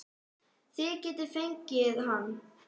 Þið getið fengið hann